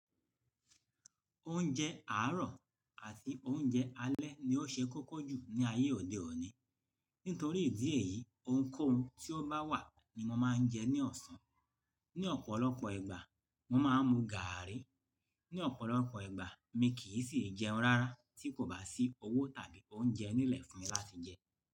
Oúnjẹ àárọ̀ àti oúnjẹ alẹ́ ni ó ṣe kókó jù ní ayé òde òní. Nítorí ìdí èyí, ohunkóhun tí ó bá wà ni mo máa ń jẹ ní ọ̀sán. Ni ọ̀pọ̀lọpọ̀ ìgbà, mo máa ń mu gààrí. Ni ọ̀pọ̀lọpọ̀ ìgbà mi kìí sì jẹun rárá tí kò bá sí owó tàbí oúnjẹ nílẹ̀ fún mi láti jẹ.